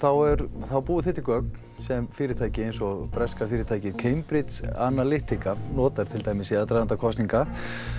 þá búið þið til gögn sem fyrirtæki eins og breska fyrirtækið Cambridge Analytica notar til dæmis í aðdraganda kosninga